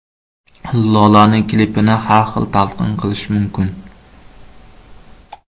Lolaning klipini har xil talqin qilish mumkin.